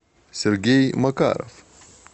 сергей макаров